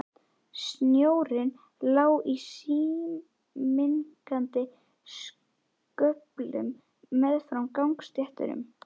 Snjórinn lá í síminnkandi sköflum meðfram gangstéttunum.